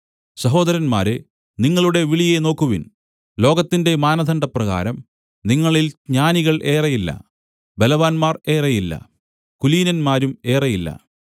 സഹോദരന്മാരേ നിങ്ങളുടെ വിളിയെ നോക്കുവിൻ ലോകത്തിന്റെ മാനദണ്ഡപ്രകാരം നിങ്ങളിൽ ജ്ഞാനികൾ ഏറെയില്ല ബലവാന്മാർ ഏറെയില്ല കുലീനന്മാരും ഏറെയില്ല